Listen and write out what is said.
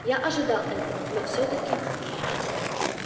я ожидал этого но всё-таки